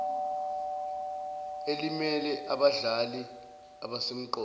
elimele abadlali abasemqoka